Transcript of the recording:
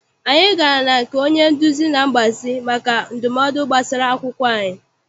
Anyị gara na nke onye nduzi na mgbazi maka ndumodu gbasara akwụkwọ anyị.